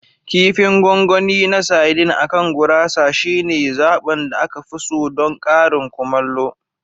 Kifin gongon na saidin akan gurasa shine zaɓin da aka fi so don karin kumallo.